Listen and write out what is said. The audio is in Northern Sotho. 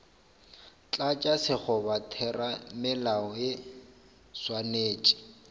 tlatša sekgoba theramelao e swanetše